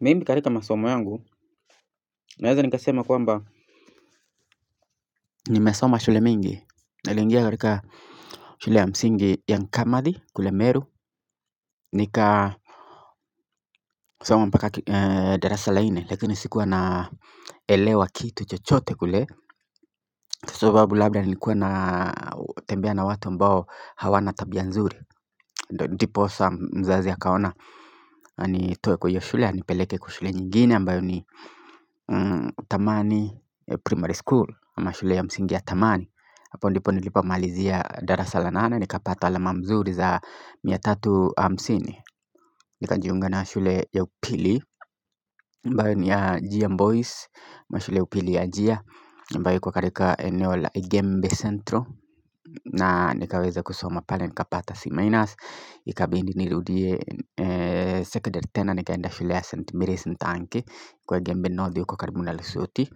Mimi katika masoma yangu naweza nikasema kwamba nimesoma shule mingi niliingia katika shule ya msingi ya nkamadhi kule meru Nikasoma mpaka ee darasa la nne lakini sikuwa naelewa kitu chochote kule Sobabu labda nilikuwa na tembea na watu ambao hawana tabia nzuri Diposa mzazi akaona anitoe kwa hiyo shule anipeleke kwa shule nyingine ambayo ni mmh tamani primary school, ama shule ya msingi ya tamani. Hapo ndipo nilipomalizia darasa la nane nikapata alama mzuri za mia tatu hamsini. Nikanjiunga na shule ya upili ambayo ni ya Giam boys ama shule ya upili ya Gia ambayo iko katika eneo la Igembe centro na nikaweza kusoma pale nikapata C minus ikabidi nirudie eeeeh,,,, Saturday tena nikaenda shule ya St Marys Ntanki kwa Igembe North huko karibu na lisuti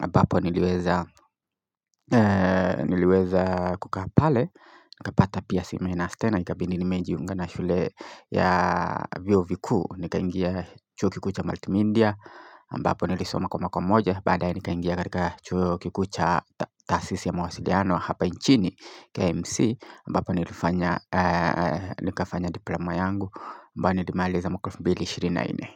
abapo niliweza niliweza kukaa pale nikapata pia C minus tena ikabidi nimejiunga na shule ya vyuo vikuu. Nikaingia chuo kikuu cha Multimedia ambapo nilisoma kwa mwako moja. Badae nikaingia katika chuo kikuu cha tasisi ya mawasiliano hapa nchini KMC ambapo nilifanya eeeeh nikafanya diploma yangu ambayo nilimaliza mwaka wa elfu ishirini na nne.